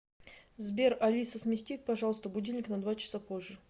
сбер алиса смести пожалуйста будильник на два часа позже